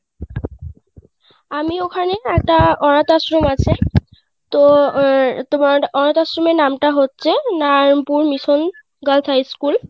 আমি ওখানে একটা অনাথ আশ্রম আছে তো তোমার অনাথ আশ্রমের নাম টা হচ্ছে Narayanpur mission girls high school